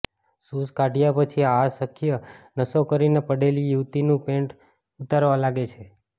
shoes કાઢ્યા પછી આ શખ્ય નશો કરીને પડેલી યુવતીનું પેન્ટ ઉતારવા લાગે છે